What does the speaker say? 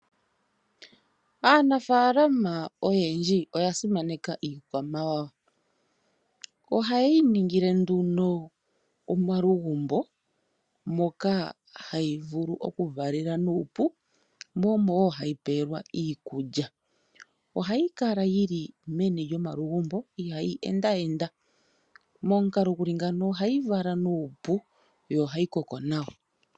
Aanafaalama oyendji oyasimaneka iikwamawawa. Ohaye yi ningile omalugumbo moka hayi vulu okuvalela nuupu noku pelwa mo iikulya. Ohayi kala yili meni lyomalugumbo ihayi enda enda. Momukalo guli ngeyi, ohayi vala nuupu nokukoka nawa.